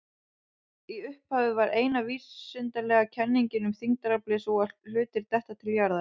Í upphafi var eina vísindalega kenningin um þyngdaraflið sú að hlutir detta til jarðar.